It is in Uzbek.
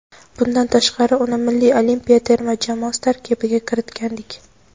Bundan tashqari uni Milliy olimpiya terma jamoasi tarkibiga kiritgandik.